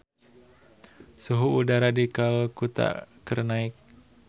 Suhu udara di Kalkuta keur naek